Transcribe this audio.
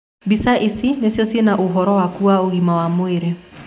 Mbica ici nĩcio ciena ũhoro waku wa ũgima wa mwĩrĩ.